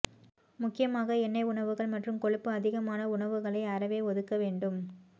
முக்கியமாக எண்ணெய் உணவுகள் மற்றும் கொழுப்பு அதிகமான உணவுகளை அறவே ஒதுக்க வேண்டும்